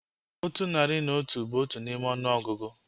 Otu nari na otu bụ otu n'ime ọnụọgụgụ